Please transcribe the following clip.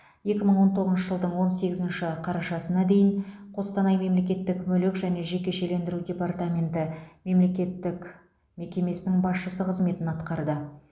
екі мың он тоғызыншы жылдың он сегізінші қарашасына дейін қостанай мемлекеттік мүлік және жекешелендіру департаменті мемлекеттік мекемесі басшысы қызметін атқарды